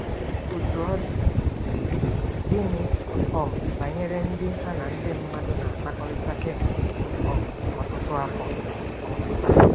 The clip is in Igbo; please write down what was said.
Otú ọ dị, dị, gịnị um banyere ndị ha na ndị mmadụ na-akpakọrịta kemgbe um ọtụtụ afọ? um